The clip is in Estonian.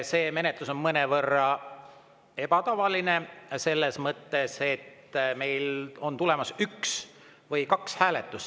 See menetlus on mõnevõrra ebatavaline selles mõttes, et meil on tulemas üks või kaks hääletust.